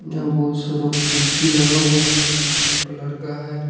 यहां बहुत सारा कुर्सी लगा हुआ है जो ब्लू कलर का है।